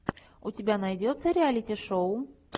у тебя найдется реалити шоу